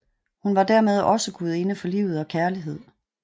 Hun var dermed også gudinde for livet og kærlighed